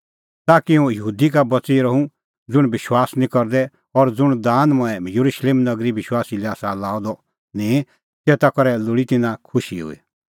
ताकि हुंह यहूदी का बच़ी रहूं ज़ुंण विश्वास निं करदै और ज़ुंण दान मंऐं येरुशलेम नगरीए विश्वासी लै आसा लाअ द निंईं तेता करै लोल़ी तिन्नां खुशी हुई